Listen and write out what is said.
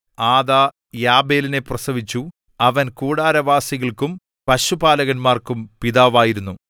ആദാ യാബാലിനെ പ്രസവിച്ചു അവൻ കൂടാരവാസികൾക്കും പശുപാലകർക്കും പിതാവായിരുന്നു